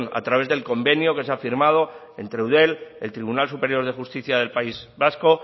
a través del convenio que se ha firmado entre eudel el tribunal superior de justicia del país vasco